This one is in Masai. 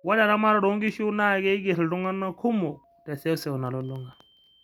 ore eramatare oo nkishu naa keigerr iltung'anak kumok te sewsew nalulung'a